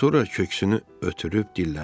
Sonra köksünü ötürüb dilləndi.